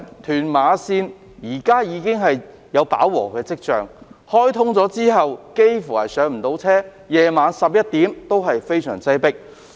屯馬綫現已有飽和跡象，在開通後乘客幾乎無法上車，在晚上11時仍非常擠迫。